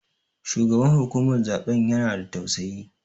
Shugaban hukumar zaɓen ya na da tausayi